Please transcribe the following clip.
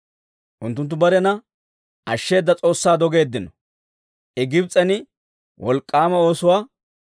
Unttunttu barena ashsheeda S'oossaa dogeeddino; I Gibs'en wolk'k'aama oosuwaa,